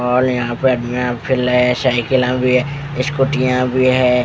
और यहां पे साइकिला भी है स्कुटियां भी है।